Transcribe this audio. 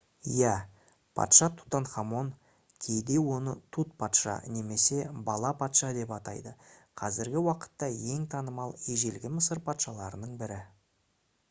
иә! патша тутанхамон кейде оны тут патша немесе бала-патша деп атайды қазіргі уақытта ең танымал ежелгі мысыр патшаларының бірі